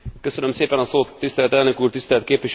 Tisztelt elnök úr, tisztelt képviselőtársaim!